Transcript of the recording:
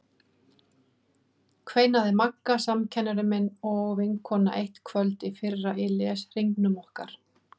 kveinaði Magga samkennari minn og vinkona eitt kvöld í fyrra í leshringnum okkar.